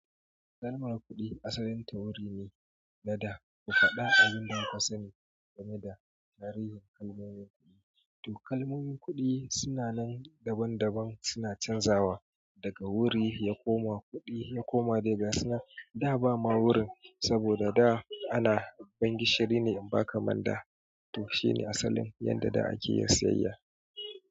Takalmar kuɗi asalin ta wuri ne, da da ku faɗa abun da ka sani game da tarihin kalmomin kuɗi. To kalmonin kuɗi suna nan daban daban suna canjawa daga wuri ya koma kuɗi ya koma dai ga sunan da ba ma wurin, saboda da ana ban gishiri ne in ba ka manda. To shine asalin yanda da ake yin siyayya.